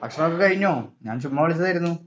ഭക്ഷണമൊക്കെ കഴിഞ്ഞോ? ഞാൻ ചുമ്മാ വിളിച്ചതായിരുന്നു.